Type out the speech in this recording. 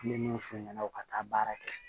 N bɛ mun f'u ɲɛna ka taa baara kɛ